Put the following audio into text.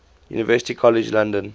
university college london